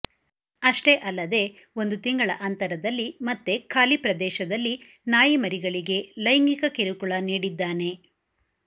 ಅಷ್ಟೇ ಅಲ್ಲದೇ ಒಂದು ತಿಂಗಳ ಅಂತರದಲ್ಲಿ ಮತ್ತೆ ಖಾಲಿ ಪ್ರದೇಶದಲ್ಲಿ ನಾಯಿಮರಿಗಳಗೆ ಲೈಂಗಿಕ ಕಿರುಕುಳ ನೀಡಿದ್ದಾನೆ